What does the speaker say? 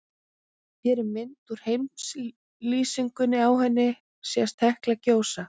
Hér er mynd úr heimslýsingunni, á henni sést Hekla gjósa.